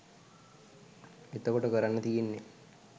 එතකොට කරන්න තියෙන්නේ